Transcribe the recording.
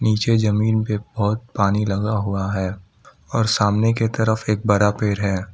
नीचे जमीन पे बहोत पानी लगा हुआ है और सामने के तरफ एक बड़ा पेड़ है।